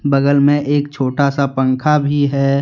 बागल में एक छोटा सा पंखा भी है।